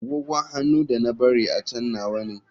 Agogon hannu da na bari a can nawa ne.